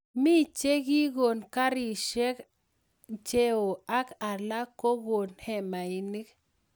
Mii che kii kon karisiek cheoo ak alak ko koon hemainik